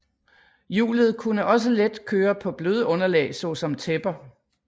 Hjulet kunne også let køre på bløde underlag såsom tæpper